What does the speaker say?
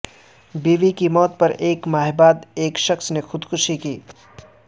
بیوی کی موت کے ایک ماہ بعد ایک شخص نے خودکشی کی